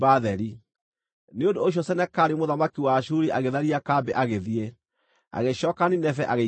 Nĩ ũndũ ũcio Senakeribu mũthamaki wa Ashuri agĩtharia kambĩ agĩthiĩ. Agĩcooka Nineve agĩikara kuo.